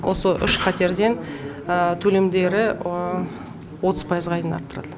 осы үш қатерден төлемдері отыз пайызға дейін арттырады